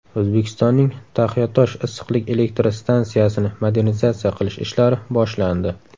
O‘zbekistonning Taxiatosh issiqlik elektr stansiyasini modernizatsiya qilish ishlari boshlandi.